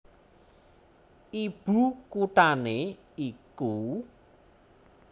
Ibu kuthané iku